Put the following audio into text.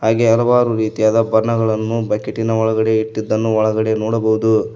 ಹಾಗೆ ಹಲವಾರು ರೀತಿಯಾದ ಬಣ್ಣಗಳನ್ನು ಬಕೆಟಿನ ಒಳಗಡೆ ಇಟ್ಟದ್ದನ್ನು ಒಳಗಡೆ ನೋಡಬೋದು.